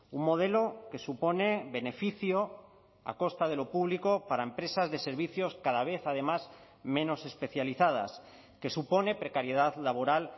un modelo que supone beneficio a costa de lo público para empresas de servicios cada vez además menos especializadas que supone precariedad laboral